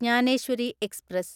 Dnyaneshwari express